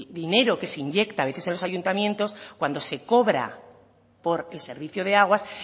dinero que se inyecta a veces en los ayuntamiento cuando se cobra por el servicio de aguas